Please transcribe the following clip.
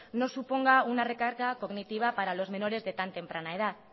no suponga una recarga cognitiva para los menores de tan temprana edad